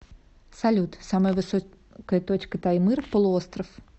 салют самая высокая точка таймыр полуостров